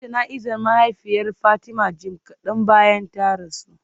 An yi jana'izar mahaifiyar Fatima jim kadan bayan ta rasu